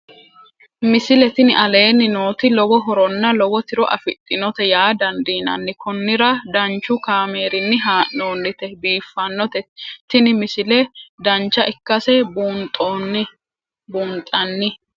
misile tini aleenni nooti lowo horonna lowo tiro afidhinote yaa dandiinanni konnira danchu kaameerinni haa'noonnite biiffannote tini misile dancha ikkase buunxanni